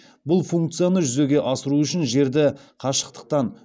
бұл функцияны жүзеге асыру үшін жерді қашықтықтан